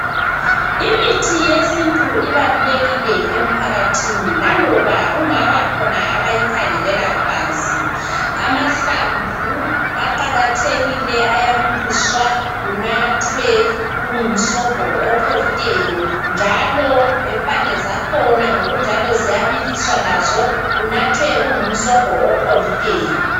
Imithi yesintu ibalulekile emphakathini laloba kungaba khona abayikhangelela phansi amahlamvu aqakathekile ayabiliswa kunathwe kungumsobho opholileyo njalo lempande zakhona ngokunjalo ziyabiliswa lazo kunathwe kungumsobho opholileyo.